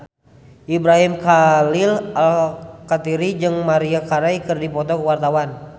Ibrahim Khalil Alkatiri jeung Maria Carey keur dipoto ku wartawan